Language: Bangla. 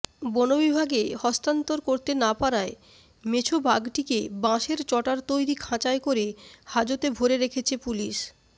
বনবিভাগে হস্তান্তর করতে না পারায় মেছোবাঘটিকে বাঁশের চটার তৈরি খাঁচায় করে হাজতে ভরে রেখেছে পুলিশ